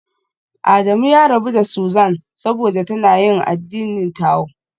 Adamu ya rabu da Susan saboda tana yin addinin Tao